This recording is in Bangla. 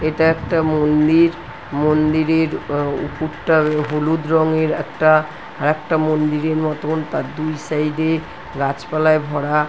এটা একটা মন্দির মন্দিরের আ উপুরটা হলুদ রংএর একটা একটা মন্দিরের মতোন তার দুই সাইড -এ গাছপালায় ভরা।